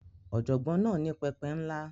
Ọ̀jọ̀gbọ́n náà ní pẹpẹ ńlá.